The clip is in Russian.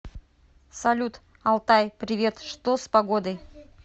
салют алтай привет что с погодой